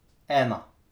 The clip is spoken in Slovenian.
Ena.